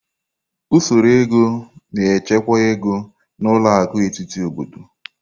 Usoro ego na-achịkwa ego, na ụlọ akụ etiti obodo.